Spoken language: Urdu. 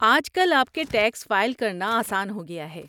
آج کل آپ کے ٹیکس فائل کرنا آسان ہو گیا ہے۔